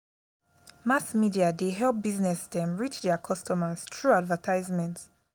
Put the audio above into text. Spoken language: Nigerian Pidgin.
mass media dey help business dem reach their customers through advertisement.